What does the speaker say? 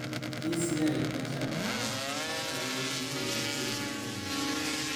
E cigarettes dwa chalo kod ndawa, kata kamano itiyo go e yo maopogore